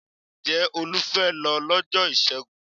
Ǹjẹ́ Olú fẹ́ lọ lọ́jọ́ Ìṣẹ́gun?